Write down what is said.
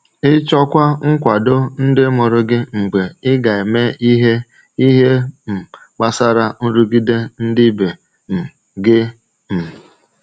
Ịchọkwa nkwado ndị mụrụ gị mgbe ị ga-eme ihe ihe um gbasara nrụgide ndị ibe um gị. um